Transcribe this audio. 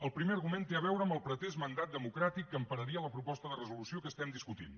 el primer argument té a veure amb el pretès mandat democràtic que empararia la proposta de resolució que estem discutint